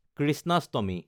Krishnashtami